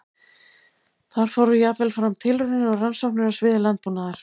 Þar fóru jafnvel fram tilraunir og rannsóknir á sviði landbúnaðar.